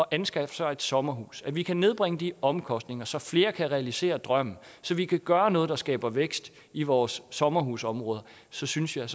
anskaffe sig et sommerhus vi kan nedbringe de omkostninger så flere kan realisere drømmen så vi kan gøre noget der skaber vækst i vores sommerhusområder så synes jeg